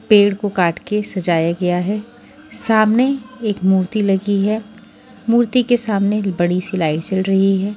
पेड़ को काट के सजाया गया है सामने एक मूर्ति लगी है मूर्ति के सामने बड़ी सी लाइट जल रही है।